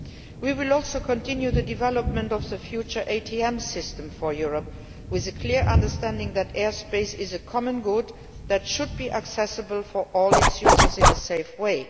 We will also continue the development of the future ATM system for Europe with a clear understanding that airspace is a common good that should be accessible for all its users in a safe way.